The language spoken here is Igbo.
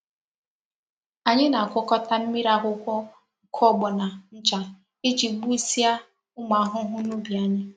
Anyi na-agwakota mmiri akwukwo nkugbona ncha Iji gbusia umu ahuhu n'ubi anyi.